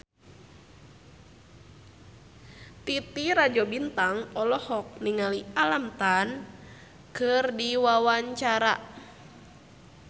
Titi Rajo Bintang olohok ningali Alam Tam keur diwawancara